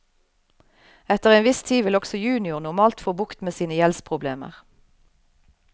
Etter en viss tid vil også junior normalt få bukt med sine gjeldsproblemer.